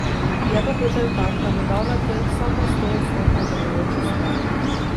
Je pa Peter tak, da bo dal na trg samo stoodstotno delujočo stvar.